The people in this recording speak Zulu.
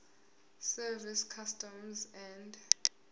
service customs and